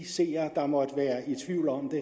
seere der måtte være i tvivl om det